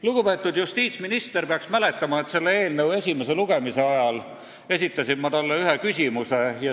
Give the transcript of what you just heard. Lugupeetud justiitsminister peaks mäletama, et selle eelnõu esimese lugemise ajal esitasin ma talle ühe küsimuse.